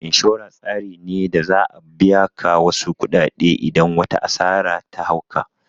Inshora tsari ne da za'a biya ka wasu kuɗaɗe idan wata asara ta hau ka